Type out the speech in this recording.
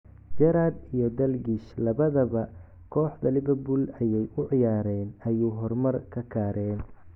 Gerrard iyo Dalgish lawadha baa kooxda Liverpool ayay uciyareen ayu hormar kakareen.